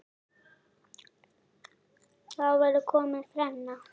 Þá væri komin þrenna.